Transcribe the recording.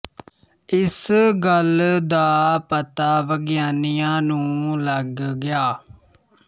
ਇਸ ਗੱਲ ਦਾ ਪਤਾ ਵਿਗਿਆਨੀਆਂ ਨੂੰ ਲੱਗ ਗਿਆ